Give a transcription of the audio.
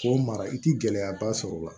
K'o mara i ti gɛlɛyaba sɔrɔ o la